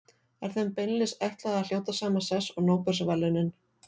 Er þeim beinlínis ætlað að hljóta sama sess og Nóbelsverðlaunin.